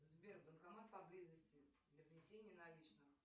сбер банкомат поблизости для внесения наличных